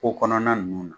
Ko kɔnɔna ninnu na